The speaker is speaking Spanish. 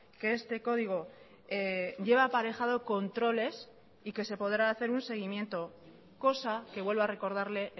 que este código lleva aparejado controles y que se podrá hacer un seguimiento cosa que vuelvo a recordarle